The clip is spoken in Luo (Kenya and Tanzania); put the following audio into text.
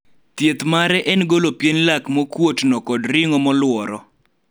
thieth mare en golo pien lak mokuot no kod ring'o moluoro